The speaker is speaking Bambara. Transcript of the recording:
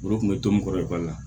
Olu tun bɛ to mɔgɔkɔrɔba la